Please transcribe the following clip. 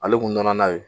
Ale kun nana n'a ye